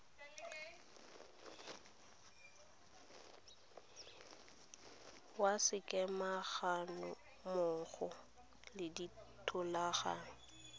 ya sekema gammogo le dithulaganyo